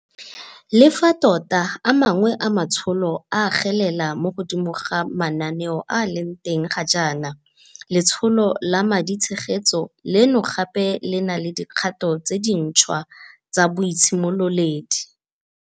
Le fa tota a mangwe a matsholo a agelela mo godimo ga manaane a a leng teng ga jaana, letsholo la maditshegetso leno gape le na le dikgato tse dintšhwa tsa boitshimololedi.